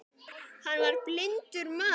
Hann var blindur maður.